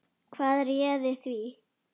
Hvað réði því?